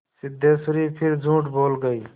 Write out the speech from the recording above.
सिद्धेश्वरी फिर झूठ बोल गई